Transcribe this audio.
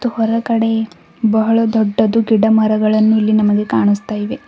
ಹೊರಗಡೆ ಬಹಳ ದೊಡ್ಡದು ಗಿಡಮರಗಳನ್ನು ನಮಗೆ ಇಲ್ಲಿ ಕಾಣಿಸ್ತಾ ಇವೆ.